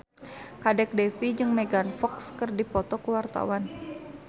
Kadek Devi jeung Megan Fox keur dipoto ku wartawan